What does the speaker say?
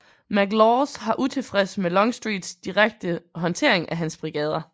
McLaws har utilfreds med Longstreets direkte håndtering af hans brigader